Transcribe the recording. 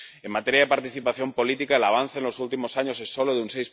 En materia de participación política, el avance en los últimos años es solo de un